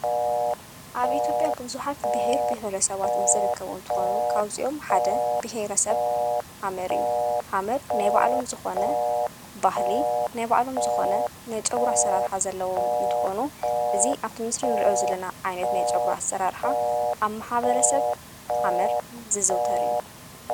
ኣብ ኢትዮጵያ ብዙኃት ብሔረብሔረሰባት ዝደከቡ እንተኾኑ ካውፂኦም ሓደ ብሒይረ ሰብ ሃመር እዩ ሃመር ናይ ብዕሎም ዝኾነ ባህሊ ናይ ብዕሎም ዝኾነ ናይ ጨጕሩ ሠራርኀ ዘለዎም እንተኾኑ እዙ ኣብቱምስር ን ርእዮ ዝለና ዓይነት ናይ ጸጕሩ ሠራርኃ ኣብ ማሓበረ ሰብ ሃመር ዝዝውተር እዩ::